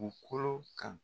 u kolo kan.